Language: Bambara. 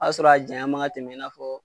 a sɔrɔ a janya man kan ka tɛmɛ i n'a fɔ